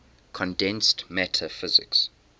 condensed matter physics